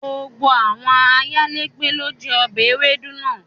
Gbogbo awọn ayélẹ̀gbẹ̀ lo jẹ obẹ̀ èwédú naa